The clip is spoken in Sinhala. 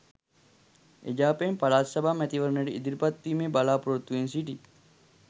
එජාපයෙන් පළාත් සභා මැතිවරණයට ඉදිරිපත් වීමේ බලාපොරොත්තුවෙන් සිටි